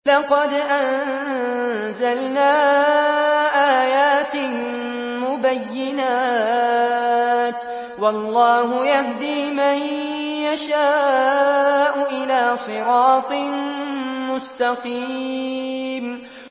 لَّقَدْ أَنزَلْنَا آيَاتٍ مُّبَيِّنَاتٍ ۚ وَاللَّهُ يَهْدِي مَن يَشَاءُ إِلَىٰ صِرَاطٍ مُّسْتَقِيمٍ